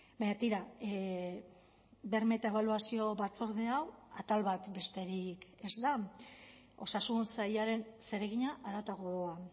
baina tira berme eta ebaluazio batzorde hau atal bat besterik ez da osasun sailaren zeregina haratago doa